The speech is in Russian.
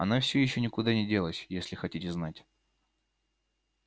она всё ещё никуда не делась если хотите знать